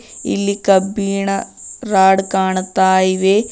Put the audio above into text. ಇಲ್ಲಿ ಕಬ್ಬಿಣ ರಾಡ್ ಕಾಣ್ತಾ ಇವೆ.